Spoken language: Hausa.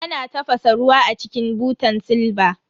Ana tafasa ruwa a cikin butan silba.